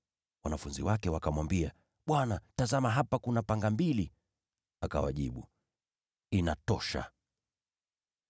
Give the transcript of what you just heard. Wanafunzi wake wakamwambia, “Bwana, tazama hapa kuna panga mbili.” Akawajibu, “Inatosha.”